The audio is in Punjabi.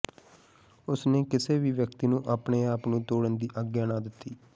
ਉਸ ਨੇ ਕਿਸੇ ਵੀ ਵਿਅਕਤੀ ਨੂੰ ਆਪਣੇ ਆਪ ਨੂੰ ਤੋੜਨ ਦੀ ਆਗਿਆ ਨਾ ਦਿੱਤੀ